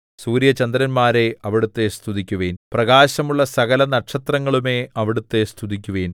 സൂര്യചന്ദ്രന്മാരേ അവിടുത്തെ സ്തുതിക്കുവിൻ പ്രകാശമുള്ള സകല നക്ഷത്രങ്ങളുമേ അവിടുത്തെ സ്തുതിക്കുവിൻ